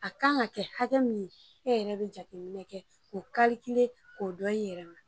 A kan ka kɛ hakɛ min e yɛrɛ bɛ jateminɛ kɛ k'o k'o dɔn i yɛrɛ ma